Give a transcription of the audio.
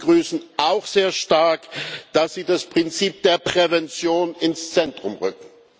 Wir begrüßen auch sehr stark, dass Sie das Prinzip der Prävention ins Zentrum rücken.